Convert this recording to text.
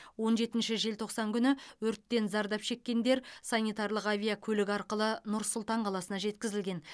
он жетінші желтоқсан күні өрттен зардап шеккендер санитарлық авиакөлік арқылы нұр сұлтан қаласына жеткізілген